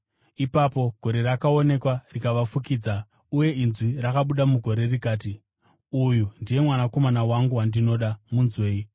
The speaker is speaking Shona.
Ipapo gore rakaonekwa rikavafukidza, uye inzwi rakabuda mugore rikati, “Uyu ndiye Mwanakomana wangu, wandinoda. Munzwei!”